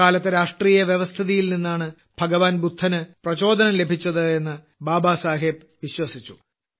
അക്കാലത്തെ രാഷ്ട്രീയ വ്യവസ്ഥിതിയിൽ നിന്നാണ് ഭഗവാൻ ബുദ്ധന് പ്രചോദനം ലഭിച്ചത് എന്ന് ബാബാസാഹിബ് വിശ്വസിച്ചു